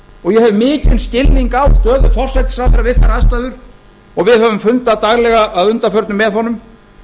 og ég hef mikinn skilning á stöðu forsætisráðherra við þær aðstæður og við höfum fundað daglega að undanförnu með honum